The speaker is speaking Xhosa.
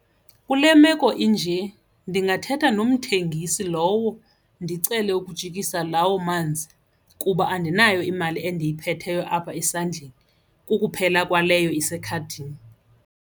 Kule meko inje ndingathetha nomthengi sisi lowo ndicele ukujikisa lawo manzi kuba andinayo imali endiyiphetheyo apha esandleni kukuphela kwaleyo isekhadini.